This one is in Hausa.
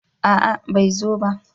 A'a bai zo ba